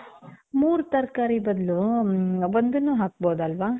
ಮೂರ್ ತರ್ಕಾರಿ ಬದ್ಲು, ಮ್ಮ್, ಒಂದನ್ನೂ ಹಾಕ್ಬಹುದಲ್ವಾ?